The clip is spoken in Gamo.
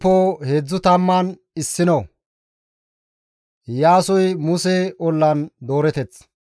Musey hayssa qaala ubbaa Isra7eele asaas yootidaappe guye,